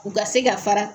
U ka se ka fara